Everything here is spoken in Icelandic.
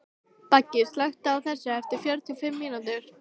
Beggi, slökktu á þessu eftir fjörutíu og fimm mínútur.